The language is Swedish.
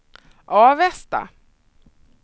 Avesta